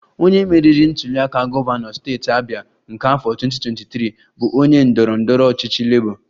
Onye meriri ntuliaka gọvanọ steeti Abia nke afọ 2023 bụ onye ndọrọ ndọrọ ọchịchị Labour